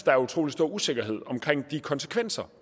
er utrolig stor usikkerhed omkring de konsekvenser